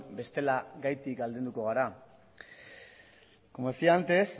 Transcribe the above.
bestela gaitik aldenduko gara como decía antes